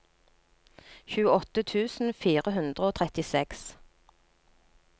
tjueåtte tusen fire hundre og trettiseks